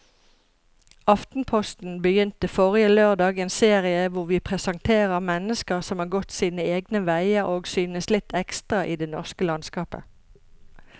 Aftenposten begynte forrige lørdag en serie hvor vi presenterer mennesker som har gått sine egne veier og synes litt ekstra i det norske landskapet.